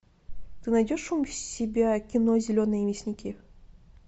ты найдешь у себя кино зеленые мясники